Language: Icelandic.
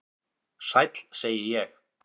"""Sæll, segi ég."""